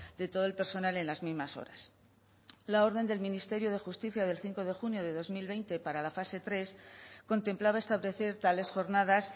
de todo el personal en las mismas horas la orden del ministerio de justicia del cinco de junio de dos mil veinte para la fase tres contemplaba establecer tales jornadas